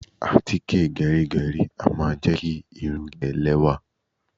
Àtíkè gẹrígẹrí a máa jẹ́ kí irun gígẹ̀ lẹ́wà.